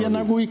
Suur aitäh!